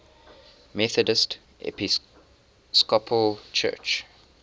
methodist episcopal church